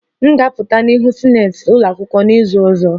M ga-apụta n'ihu sinetị ụlọ akwụkwọ n'izu ọzọ